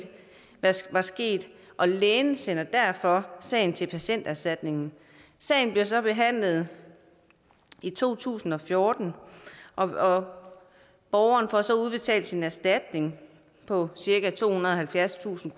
var sket og lægen sender derfor sagen til patienterstatningen sagen bliver så behandlet i to tusind og fjorten og borgeren får så udbetalt sin erstatning på cirka tohundrede og halvfjerdstusind